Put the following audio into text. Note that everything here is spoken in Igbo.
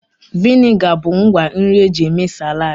Vịnịga bụ ngwa nri eji eme saladị